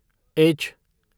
H